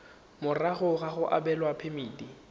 morago ga go abelwa phemiti